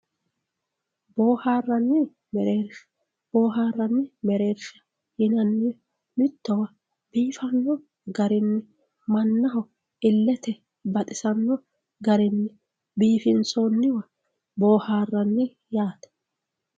boohaarranni mereersha boohaarranni mereersha yinannihu mittowa biifanno garinni mannaho illete baxisanno garinni biifinsoonniwa boohaarranni yaate.